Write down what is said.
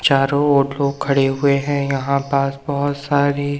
चारों ओर लोग खड़े हुए हैं यहां पास बहोत सारी--